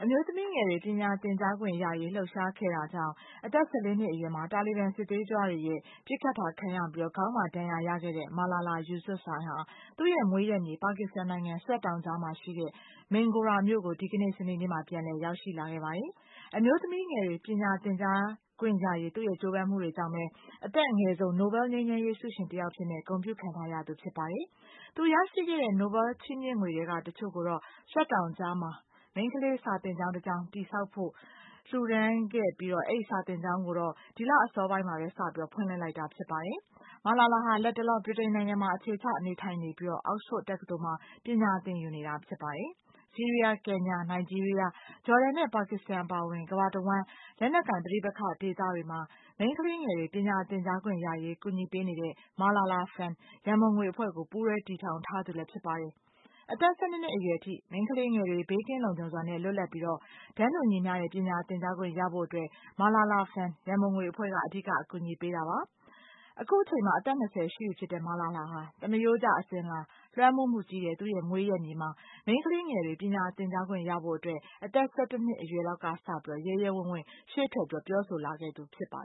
မျိုးသမီးငယ်တွေ ပညာသင်ကြားခွင့်ရရေး လှုပ်ရှားခဲ့တာကြောင့် အသက် ၁၄ နှစ်အရွယ်မှာ တာလီဘန်စစ်သွေးကြွတွေရဲ့ ပစ်ခတ်တာ ခံရပြီး ခေါင်းမှာဒဏ်ရာ ရခဲ့တဲ့ Malala Yousafzai ဟာ သူ့ရဲ့မွေးရပ်မြေ ပါကစ္စတန်နိုင်ငံ Swat တောင်ကြားမှာရှိတဲ့ Mingora မြို့ကို ဒီကနေ့ စနေနေ့မှာ ပြန်လည် ရောက်ရှိလာခဲ့ပါတယ်။ အမျိုးသမီးငယ်တွေ ပညာသင်ကြားခွင့်ရရေး သူ့ရဲ့ကြိုးပမ်းမှုတွေကြောင့်ပဲ အသက်အငယ်ဆုံး နိုဘဲလ် ငြိမ်းချမ်းရေးဆုရှင် တယောက်အဖြစ် ဂုဏ်ပြုခံထားရသူဖြစ်ပါတယ်။ သူ ရရှိတဲ့ နိုဘဲလ်ဆု ချီးမြှင့်ငွေတွေထဲက တချို့ကိုတော့ Swat တောင်ကြားမှာ မိန်းခလေးစာသင်ကျောင်းတကျောင်း တည်ဆောက်ဖို့ လှူဒါန်းခဲ့ပြီး အဲဒီစာသင်ကျောင်းကိုတော့ ဒီလအစောပိုင်းကပဲ စတင်ဖွင့်လှစ်လိုက်တာပါ။ မာလာလာဟာ လတ်တလော ဗြိတိန်နိုင်ငံမှာ အခြေချနေထိုင်နေပြီး Oxford တက္ကသိုလ်မှာ ပညာ သင်ယူနေတာဖြစ်ပါတယ်။ ဆီးရီးယား၊ ကင်ညာ၊ နိုင်ဂျီးရီးယား၊ ဂျော်ဒန်နဲ့ ပါကစ္စတန် အပါအဝင် ကမ္ဘာ့တဝှမ်း လက်နက်ကိုင် ပဋိပက္ခတွေ ဒေသတွေမှာ မိန်းခလေးငယ်တွေ ပညာသင်ကြားခွင့်ရရေး ကူညီပေးတဲ့ Malala Fund ရန်ပုံငွေအဖွဲ့ကို ပူးတွဲ တည်ထောင်ထား သူလည်း ဖြစ်ပါတယ်။ အသက် ၁၂ နှစ်အရွယ်အထိ မိန်းခလေးငယ်တွေ ဘေးကင်းလုံခြုံစွာနဲ့ လွတ်လပ်ပြီး တန်းတူညီမျှတဲ့ ပညာ သင်ကြားခွင့် ရဖို့အတွက် Malala Fund ရန်ပုံငွေအဖွဲ့က အဓိက ကူညီပေးတာပါ။ အခုချိန်မှာ အသက် ၂၀ ရှိပြီဖြစ်တဲ့ မာလာလာ ဟာ သမရိုးကျ အစဉ်အလာ လွှမ်းမိုးမှုကြီးတဲ့ သူ့ရဲ့မွေးရပ်မြေမှာ မိန်းခလေးငယ်တွေ ပညာသင်ကြားခွင့်ရဖို့အတွက် အသက် ၁၁ နှစ်အရွယ်လောက်ကစလို့ ရဲရဲဝံ့ဝံ့ ရှေ့ထွက်ပြောဆိုလာခဲ့သူ ဖြစ်ပါ